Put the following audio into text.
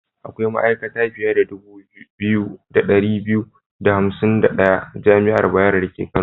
Akwai ma'aikata fiye da dubu biyu da ɗari biyu da hansim da ɗaya a jami'ar Bayero dake Kano.